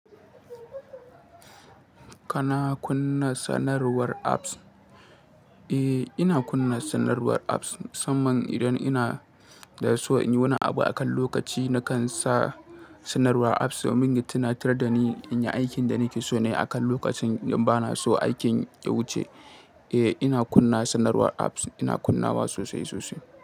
Kana kunna sanarwar apps? Eh, ina kunna sanarwar apps. Musamman idan ina da so in yi wani abu akan lokaci, nakan sa sanarwar apps domin ya tuna tar da ni in yi aikin da nake so nayi akan lokacin in ba na so aikin ya wuce. Eh, ina kunna sanarwar apps, ina kunnawa sosai sosai.